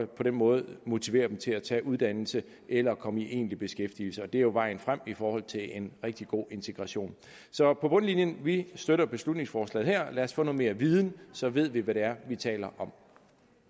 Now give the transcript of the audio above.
den måde motivere dem til at tage en uddannelse eller komme i egentlig beskæftigelse det er jo vejen frem i forhold til en rigtig god integration så på bundlinjen vi støtter beslutningsforslaget her lad os få noget mere viden så ved vi hvad det er vi taler om